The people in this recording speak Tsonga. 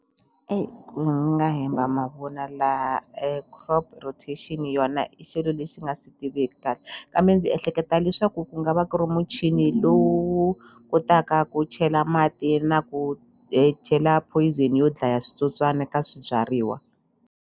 ku nga hemba mavun'wa laha crop rotation yona i xilo lexi nga si tiviki kahle kambe ndzi ehleketa leswaku ku nga va ku ri muchini lowu kotaka ku chela mati na ku chela poison yo dlaya switsotswani ka swibyariwa.